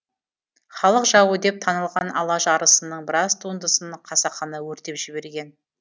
халық жауы деп танылған алаш арысының біраз туындысын қасақана өртеп жіберген